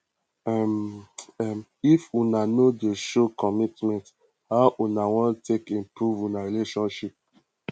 um um if una no dey show commitment how una wan take improve una relationship